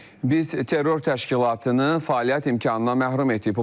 Biz terror təşkilatını fəaliyyət imkanından məhrum etdik.